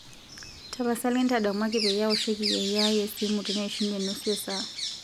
tapasali ntadamuaki peyie aoshoki yieyio aai esimu teneishunye nusu e saa